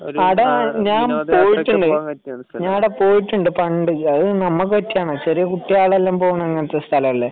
ആട ഞാൻ പോയിട്ടുണ്ട് ഞാൻ പോയിട്ടുണ്ട് പണ്ട് അത് നമ്മക്ക് പറ്റിയ സ്ഥലമല്ല ആട ചെറിയ കുട്ടികളെല്ലാം പോകുന്ന സ്ഥലമല്ലേ